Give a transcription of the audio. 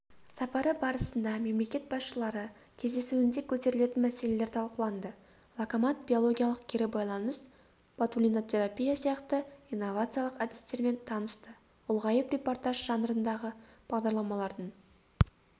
сапары барысында мемлекет басшылары кездесуінде көтерілетін мәселелер талқыланды локомат биологиялық кері байланыс ботулинотерапия сияқты инновациялық әдістермен танысты ұлғайып репортаж жанрындағы бағдарламалардың